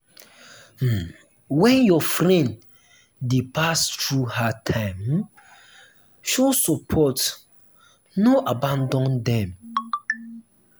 um when um your friend dey pass through hard time um show support no abandon dem.